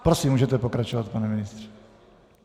Prosím, můžete pokračovat, pane ministře.